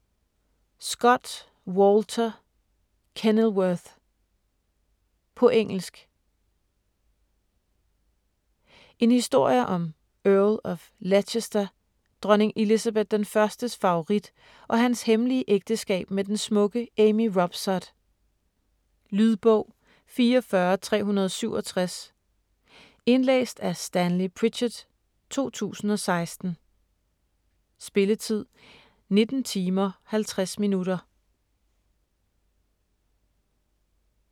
Scott, Walter: Kenilworth På engelsk. En historie om Earl of Leicester, dronning Elizabeth I's favorit, og hans hemmelige ægteskab med den smukke Amy Robsart. Lydbog 44367 Indlæst af Stanley Pritchard, 2016. Spilletid: 19 timer, 50 minutter.